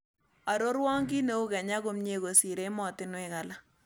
Arorwon kiineu kenya komyee kosir emotinwek alak